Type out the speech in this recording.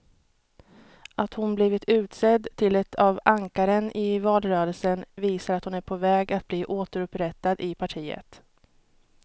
Att hon blivit utsedd till ett av ankaren i valrörelsen visar att hon är på väg att bli återupprättad i partiet.